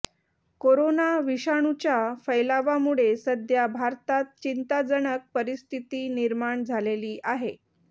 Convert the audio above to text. corona विषाणूच्या फैलावामुळे सध्या भारतात चिंताजनक परिस्थिती निर्माण झालेली आहे